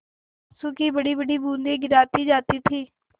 आँसू की बड़ीबड़ी बूँदें गिराती जाती थी